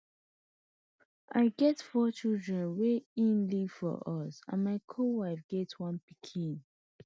i get four children wey e leave for us and my co wife get one pikin